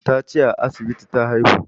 Ya ce a asibiti ta haihu